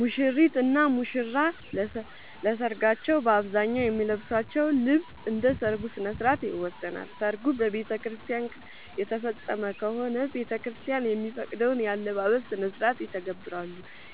ሙሽሪት እና ሙሽራ ለሰርካቸው በአብዛኛው የሚለብሱት ልብስ እንደ ሠርጉ ስነስርዓት ይወሰናል። ሰርጉ በቤተክርስቲያን የተፈፀመ ከሆነ ቤተክርስቲያን የሚፈቅደውን የአለባበስ ስነስርዓት ይተገብራሉ።